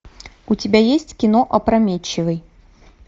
у тебя есть кино опрометчивый